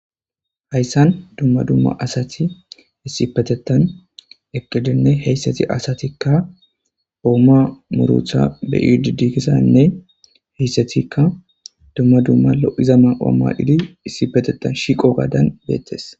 Hayssan dumma dumma asati issipetettan eqqidinne heyssati asatikka oomo muuruta be'idi de'zanne izetikka dumma dumma lo'iza mayo mayidi issipetettan shiiqo gaadan beettees.